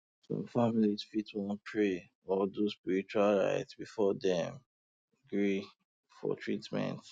some families fit wan pray or do spiritual rite um before dem um gree for treatment